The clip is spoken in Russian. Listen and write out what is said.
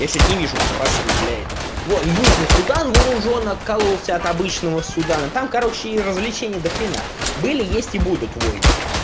я что то не вижу предпосылок для этого вон южный судан вооружён откололся от обычного судана там короче и развлечений до хрена были есть и будут войны